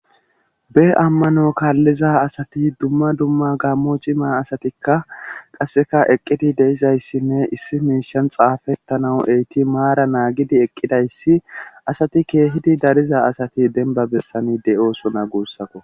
be ammano kaalliza asati dumma dumma gammo cima asatikka qasseka eqqidi deizayssinne issi miishan xaafettanaw eqidi maara naagidi eqqidayssi asati keehidi dariza asati denba bessani de'osona guussako